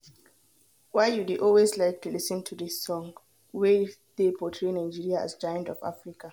Why you dey always like to lis ten to dis song wey dey portray Nigeria as giant ofAfrica?